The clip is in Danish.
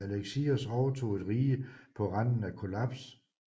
Alexios overtog et rige på randen af kollaps